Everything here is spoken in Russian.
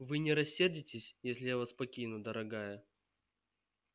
вы не рассердитесь если я вас покину дорогая